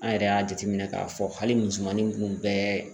An yɛrɛ y'a jateminɛ k'a fɔ hali musomanin kun bɛɛ